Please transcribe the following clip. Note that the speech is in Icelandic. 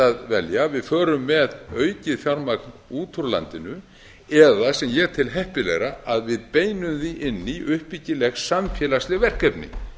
að velja að við förum með aukið fjármagn út úr landinu eða sem ég tel heppilegra að við beinum því inn í uppbyggileg samfélagsleg verkefni